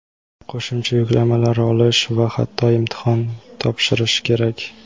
qo‘shimcha yuklamalar olish va hatto imtihon topshirishi kerak.